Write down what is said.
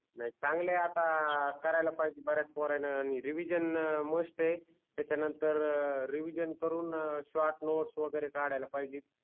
नाही चांगले आता करायला पाहिजे बऱ्याच पोरायन रिविजन मस्ट आहे त्याच्या नंतर रिविजन करून शॉर्ट नोट्स वगेरे कडायला पाहिजे